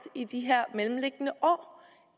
i de her mellemliggende år